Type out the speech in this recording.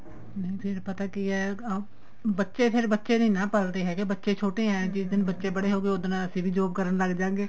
ਨੀਂ ਫੇਰ ਪਤਾ ਕਿ ਏ ਬੱਚੇ ਫੇਰ ਬੱਚੇ ਨੀ ਨਾ ਪਲਦੇ ਹੈਗੇ ਬੱਚੇ ਛੋਟੇ ਏ ਜਿਸ ਦਿਨ ਬੱਚੇ ਬੜੇ ਹੋਗੇ ਉਸ ਦਿਨ ਅਸੀਂ ਵੀ job ਕਰਨ ਲੱਗਜਾਗੇ